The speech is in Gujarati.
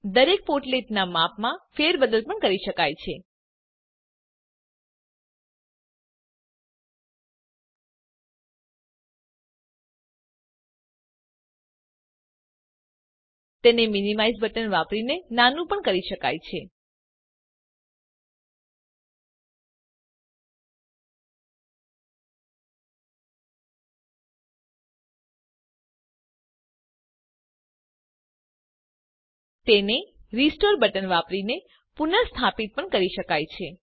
દરેક પોર્ટલેટ નાં માપમાં ફેરબદલ પણ કરી શકાય છે તેને મીનીમાઇઝ બટન વાપરીને નાનું પણ શકાય છે તેને રીસ્ટોર બટન વાપરીને પુનર્સ્થાપિત પણ કરી શકાય છે